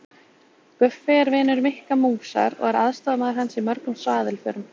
Guffi er vinur Mikka músar og er aðstoðarmaður hans í mörgum svaðilförum.